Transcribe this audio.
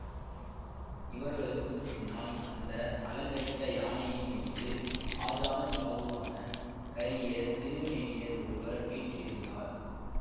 இவர்களுக்கு பின்னால் வந்த அலங்கரித்த யானையின் மீது ஆஜானுபாகுவான கரிய திருமேனியர் ஒருவர் வீற்றிருந்தார்